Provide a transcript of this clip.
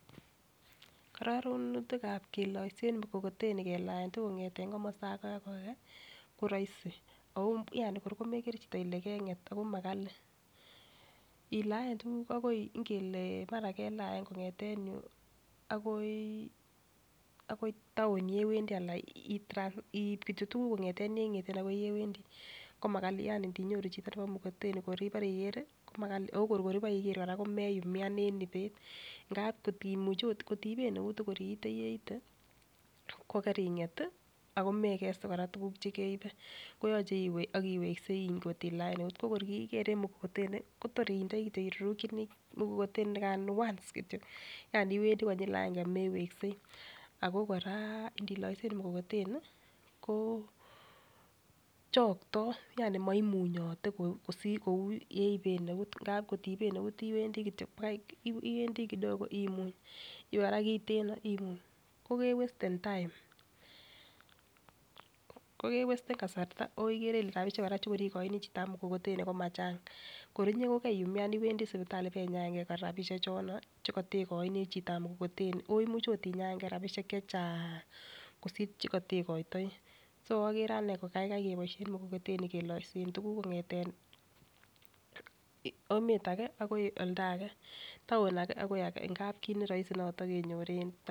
Kororonutikab keloisen mukokoteni kelaentukuki kongeten komosto age akoi age koroisi ako yani kor komekere chito Ile kenget ako makali ilaen tukuk akoi ngele mara kelaen kongeten yuu akoi akoi town yewendii alan itra in kityok tukuk kongeten yengeten akoi ulewendii kimakali yani ndinyoru chito nebo mukokoteni kor ibore ikere ko makali okor kibo iker Koraa kokeyumyan en ibet ngap kotimuch ot kotiiben neut ko kor iite yeite ko keringet tii ako mekeste Koraa tukuk chekeibe koyoche iwee ak iweksei kotilaen eut ko kor kii iker en mokokoteni Kotor indoi kityok irurukini mukokoteni nikano once kityok yani iwendii konyil aenge meweksei. Ako Koraa ndiloisen mukokoteni ko chokto yani moimunyote kou kosir yeiben eut ngap kotiiben eut iwendii kityok Baki iwendii kidogo imuny iwee Koraa kiteno imuny ko kewesten time.ko kewesten kasarta okere kole rabishek Koraa chekor ikoini chitab mukokoteni ko machang, kor inyee ko keriumyan iwendii sipitali ibenyaengee koraa rabishek chono chekotekoini chitab mukokoteni imuch ot inyaengee rabishek chechang kosir chekotekoito so okere anee ko kaikai keboishen mukokoteni keloisen tukuk kongeten emet age akoi oldage, town age akoi age ngap kit neroisi noton kenyor en to.